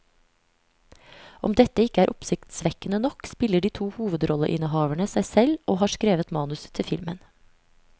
Om dette ikke er oppsiktsvekkende nok, spiller de to hovedrolleinnehaverne seg selv og har skrevet manus til filmen.